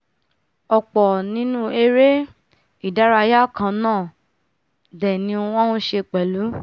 ọ̀pọ̀ nínú eré-ìdárayá kannáà dè ni wọ́n nṣe pẹ̀lú